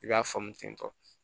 I b'a faamu ten tɔ